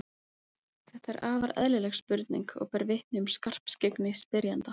Þetta er afar eðlileg spurning og ber vitni um skarpskyggni spyrjanda.